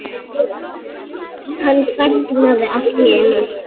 Hann þagnaði allt í einu.